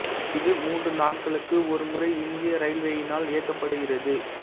இது மூன்று நாட்களுக்கு ஒரு முறை இந்திய ரயில்வேயினால் இயக்கப்படுகிறது